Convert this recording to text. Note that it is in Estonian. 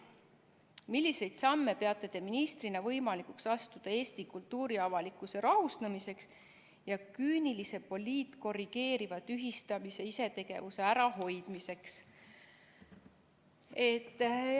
"Milliseid samme peate Te ministrina võimalikuks astuda Eesti kultuuriavalikkuse rahustamiseks ja küünilise poliitkorrigeeriva tühistamis-isetegevuse ärahoidmiseks?